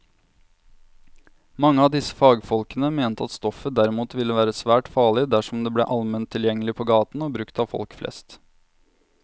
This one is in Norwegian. Mange av disse fagfolkene mente at stoffet derimot ville være svært farlig dersom det ble allment tilgjengelig på gaten og brukt av folk flest.